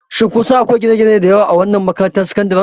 Shin kun san akwai gine-gine da yawa a wannan makarantar sakandare?